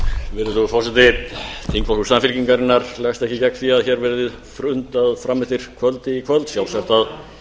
virðulegur forseti þingflokkur samfylkingarinnar leggst ekki gegn því að hér verði fundað fram eftir kvöldi í kvöld sjálfsagt að